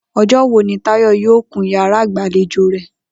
O̩jó̩ wo ni Táyò̩ yóò kun yàrá ìgbàlejò rè̩?